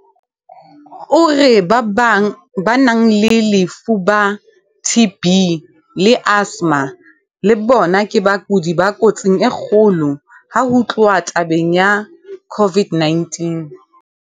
O re ba nang le lefuba, TB, le asthma le bona ke bakudi ba kotsing e kgolo ha ho tluwa tabeng ya COVID-19.